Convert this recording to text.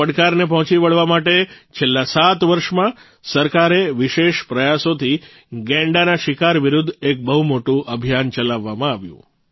આ પડકારને પહોંચી વળવા માટે છેલ્લા સાત વર્ષમાં સરકારે વિશેષ પ્રયાસોથી ગૈંડાના શિકાર વિરૂદ્ધ એક બહુ મોટું અભિયાન ચલાવવામાં આવ્યું